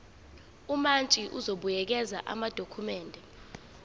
umantshi uzobuyekeza amadokhumende